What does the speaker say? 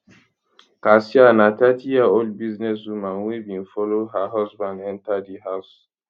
kassia na 30yearold businesswoman wey bin follow her husband enta di house